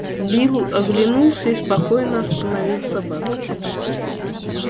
билл оглянулся и спокойно остановил собак